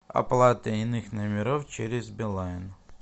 оплата иных номеров через билайн